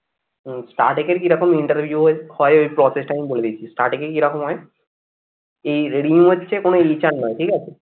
starting এ কিরকম interview হয় এই process টা আমি বলে দিচ্ছি starting এ কিরকম হয় এই নয় ঠিক আছে?